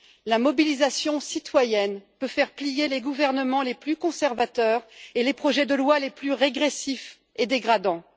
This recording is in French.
La mobilisation citoyenne peut faire plier les gouvernements les plus conservateurs et les projets de lois les plus régressifs et dégradants.